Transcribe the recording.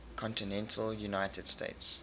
continental united states